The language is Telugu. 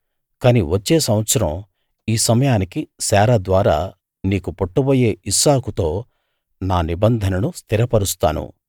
కాని వచ్చే సంవత్సరం ఈ సమయానికి శారా ద్వారా నీకు పుట్టబోయే ఇస్సాకుతో నా నిబంధననను స్థిరపరుస్తాను